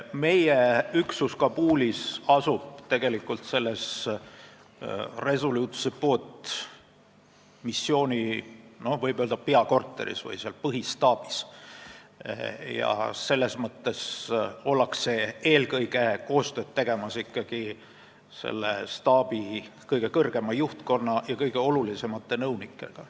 Meie üksus Kabulis asub Resolute Supporti missiooni peakorteris või põhistaabis ja koostööd tehakse eelkõige selle staabi kõige kõrgema juhtkonna ja kõige olulisemate nõunikega.